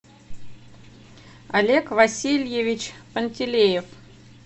олег васильевич пантелеев